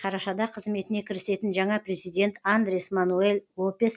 қарашада қызметіне кірісетін жаңа президент андрес мануэль лопес